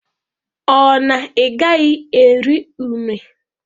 Ọ na igaghi eri une?